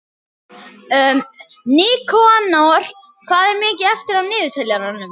Nikanor, hvað er mikið eftir af niðurteljaranum?